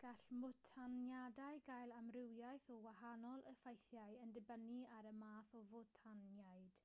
gall mwtaniadau gael amrywiaeth o wahanol effeithiau yn dibynnu ar y math o fwtaniad